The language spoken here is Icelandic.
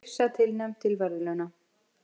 Yrsa tilnefnd til verðlauna